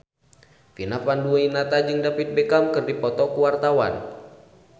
Vina Panduwinata jeung David Beckham keur dipoto ku wartawan